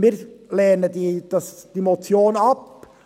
Wir lehnen diese Motion ab.